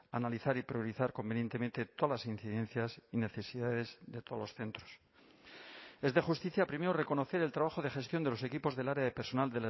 analizar y priorizar convenientemente todas las incidencias y necesidades de todos los centros es de justicia primero reconocer el trabajo de gestión de los equipos del área de personal